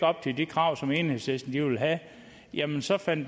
op til de krav som enhedslisten vil have jamen så finder